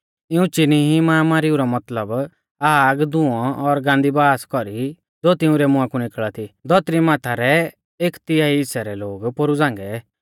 इऊं चिनी ई माहामारीऊ मतलब आग धुंऔ और गान्दी बासा कौरी ज़ो तिंउरै मुंहा कु निकल़ा थी धौतरी माथा रै एक तिहाई हिस्सै रै लोग पोरु झ़ांगै